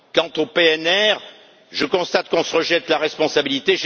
Quant au PNR, je constate qu'on se rejette la responsabilité.